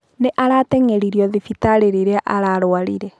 Nĩ aratengeririo thibitarĩ rĩria ararwarire.